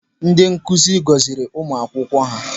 Ndị nkụzi gọziri ụmụ akwụkwọ ha.